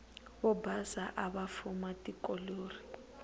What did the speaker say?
vobhasa avafuma tikoleri